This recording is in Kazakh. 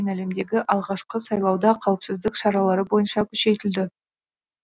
әлемдегі алғашқы сайлауда қауіпсіздік шаралары бойынша күшейтілді